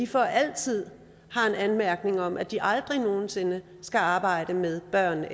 for altid har en anmærkning om at de aldrig nogen sinde skal arbejde med børn